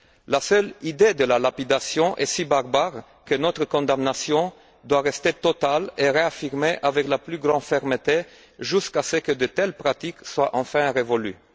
La seule idée de la lapidation est si barbare que notre condamnation doit rester totale et être réaffirmée avec la plus grande fermeté jusqu'à ce que de telles pratiques soient enfin révolues.